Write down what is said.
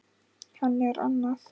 Hann er annað